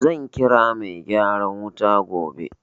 Zan kira mai gyaran wuta gobe.